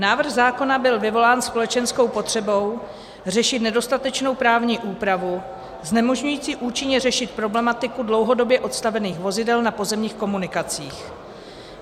Návrh zákona byl vyvolán společenskou potřebou řešit nedostatečnou právní úpravu znemožňující účinně řešit problematiku dlouhodobě odstavených vozidel na pozemních komunikacích.